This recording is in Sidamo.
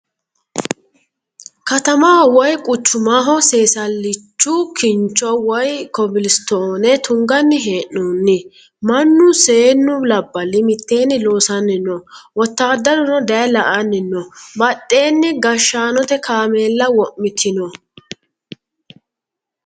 Katamaho woyi kuchumaho seesallichu kincho woyi kobilistoone tunganni hee'noonni. Mannu seennu labballi mitteenni loossanni no. Wotaaddaruno dayee la"anni no badheenni gashshaanote kaameella wo'mitino.